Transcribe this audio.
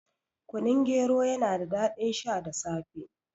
Kunun gero yana da daɗin sha da safe